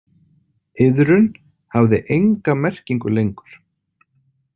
Iðrun hafði enga merkingu lengur.